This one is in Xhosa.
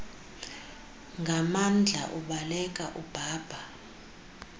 nganmandla ubaleka udada